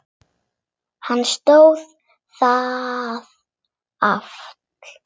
Hann stóðst það afl.